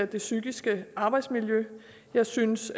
det psykiske arbejdsmiljø jeg synes